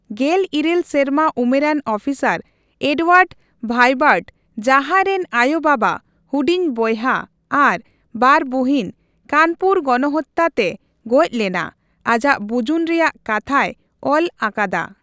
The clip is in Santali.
ᱜᱮᱞ ᱤᱨᱟᱹᱞ ᱥᱮᱨᱢᱟ ᱩᱢᱮᱨᱟᱱ ᱟᱹᱯᱤᱥᱟᱨ ᱮᱰᱣᱟᱨᱰ ᱵᱷᱟᱭᱵᱟᱨᱴ, ᱡᱟᱦᱟᱭ ᱨᱮᱱ ᱟᱭᱳᱼᱵᱟᱵᱟ, ᱦᱩᱰᱤᱧ ᱵᱚᱭᱦᱟ ᱟᱨ ᱵᱟᱨ ᱵᱩᱦᱤᱱ ᱠᱟᱱᱯᱩᱨ ᱜᱚᱱᱚᱦᱚᱛᱟ ᱛᱮ ᱜᱚᱪ ᱞᱮᱱᱟ, ᱟᱡᱟᱜ ᱵᱩᱡᱩᱱ ᱨᱮᱭᱟᱜ ᱠᱟᱛᱷᱟᱭ ᱚᱞ ᱟᱞᱟᱫᱟ ᱾